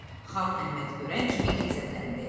Xan Əhmədi görən kimi qəzəbləndi.